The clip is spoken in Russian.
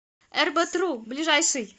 эрбэтру ближайший